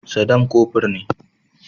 Sadam kofur ne.